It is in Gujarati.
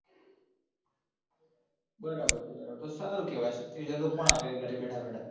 બરાબર છે યાર આમ તો સારું કેવાય સત્તાવીસ હજાર કોણ આપે ઘરે બેઠા બેઠા